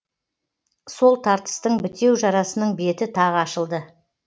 сол тартыстың бітеу жарасының беті тағы ашылды